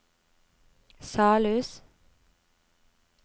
Salhus